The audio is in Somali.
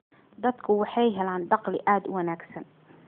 Dadku waxay helaan dakhli aad u wanaagsan.